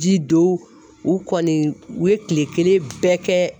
Ji don , u kɔni u ye tile kelen bɛɛ kɛ